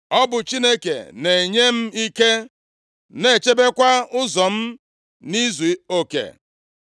Ọ bụ Chineke na-enye m ike, na-echebekwa ụzọ m nʼizuoke.